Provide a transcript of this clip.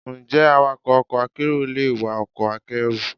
Ǹjẹ́ awakọ̀ ọkọ̀ akérò le wa ọkọ̀ akẹ́rù?